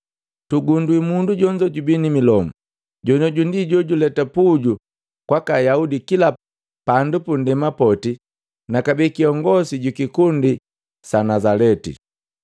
Tugundwi mundu jonzo jubi ni milomu. Jonoju ndi jojuleta puju kwaka Ayaudi kila pandu punndema poti na kabee kiongosi jukikundi sa Nazaleti.